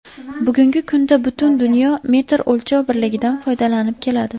Bugungi kunda butun dunyo metr o‘lchov birligidan foydalanib keladi.